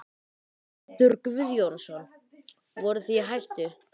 Pétur Guðjónsson: Voruð þið í hættu?